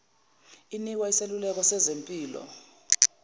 inikwa iseluleko sezempilo